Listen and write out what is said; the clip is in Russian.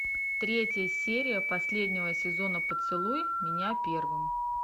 третья серия последнего сезона поцелуй меня первым